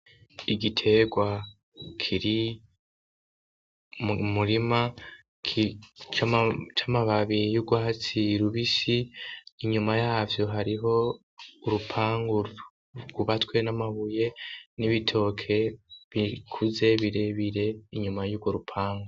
Igiterwa kiri murima c'amababiri y'ugwahatsirubisi inyuma yavyo hariho urupangu rubatwe n'amabuye n'ibitoke bikuze birebire inyuma y'ugo rupanka.